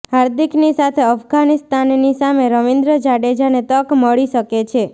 હાર્દિકની સાથે અફઘાનિસ્તાનની સામે રવિન્દ્ર જાડેજાને તક મળી શકે છે